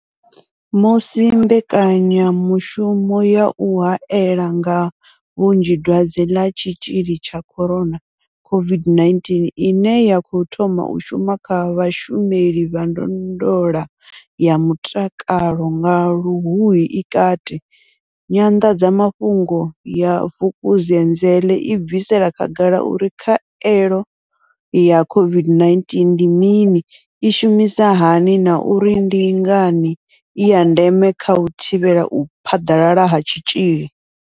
Musi mbekanyamushumo ya u hae la nga vhunzhi dwadze ḽa tshitzhili tsha corona COVID-19 ine ya khou thoma u shuma kha vhashumeli vha ndondolo ya mutakalo nga Luhuhi i kati, nyanḓadzamafhungo ya Vukuzenzele i bvisela khagala uri khaelo ya COVID-19 ndi mini, i shumisa hani na uri ndi ngani i ya ndeme kha u thivhela u phaḓalala ha tshitzhili.